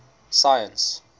science